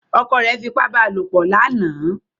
Ọkọ rẹ fipá bá lopọ̀ lánàá.